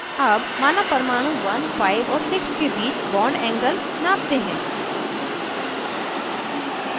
अब माना परमाणु 15 और 6 के बीच bondangle नापते हैं